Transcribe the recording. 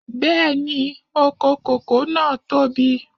Bẹ́ẹ̀ni, oko kòkó náà tóbi.